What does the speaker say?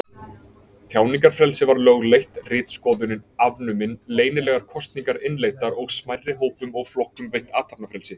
Tjáningarfrelsi var lögleitt, ritskoðun afnumin, leynilegar kosningar innleiddar og smærri hópum og flokkum veitt athafnafrelsi.